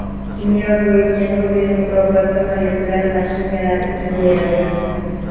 Kimyo bo‘yicha Nobel mukofoti molekulyar mashinalar uchun berildi.